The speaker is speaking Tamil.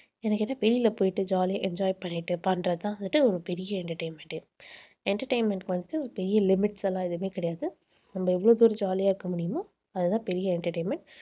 என்னை கேட்டா வெளியில போயிட்டு jolly யா enjoy பண்ணிட்டு பண்றதுதான் வந்துட்டு ஒரு பெரிய entertainment ஏ entertainment க்கு வந்துட்டு பெரிய limits எல்லாம் எதுவுமே கிடையாது. நம்ம எவ்வளவு தூரம் jolly ஆ இருக்க முடியுமோ அதுதான் பெரிய entertainment